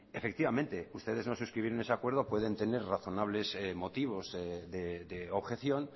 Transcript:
efectivamente ustedes no suscribieron ese acuerdo pueden tener razonables motivos de objeción